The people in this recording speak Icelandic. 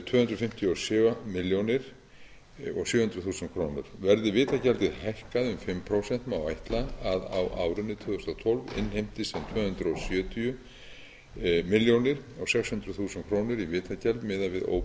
tvö hundruð fimmtíu og sjö sjö milljónir króna verði vitagjaldið hækkað um fimm prósent má ætla að á árinu tvö þúsund og tólf innheimtist um tvö hundruð sjötíu komma sex milljónir króna í vitagjald miðað